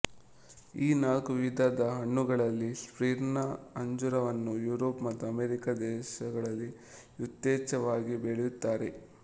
ಈ ನಾಲ್ಕು ವಿಧದ ಹಣ್ಣುಗಳಲ್ಲಿ ಸ್ಮಿರ್ನ ಅಂಜೂರವನ್ನು ಯೂರೋಪು ಮತ್ತು ಅಮೆರಿಕ ದೇಶಗಳಲ್ಲಿ ಯಥೇಚ್ಛವಾಗಿ ಬೆಳೆಯುತ್ತಾರೆ